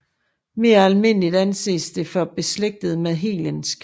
Mere almindeliget anses det for beslægtet med hellensk